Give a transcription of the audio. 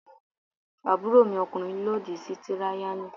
Àbúròmi ọkùnrin lòdì sí tíráyánì.